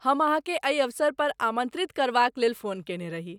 हम अहाँकेँ एहि अवसर पर आमन्त्रित करबाक लेल फोन कयने रही।